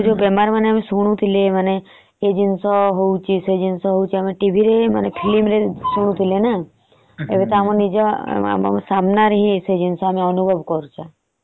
ଯୋଉ ଯୋଉ ବେମାର ମାନେ ଶୁଣୁଥିଲେ ମାନେ ଏ ଜିନିଷ ହଉଛେ ସେ ଜିନିଷ ହଉଛେ film ରେ ଦେଖୁଥିଲେ। ଏବେ ଆମ ସାମନା ରେ ହିନ ସେ ଜିନିଷ ଆମେ ଅନୁଭବ କରୁଛେ।